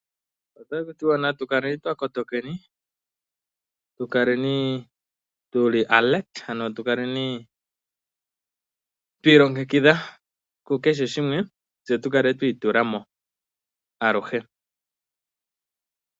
Otaku tiwa natu kaleni twa kotokeni, tukaleni tuli aakotoki, ano tukaleni twi ilongekidha kukehe shimwe, tse tu kale twi itula mo aluhe.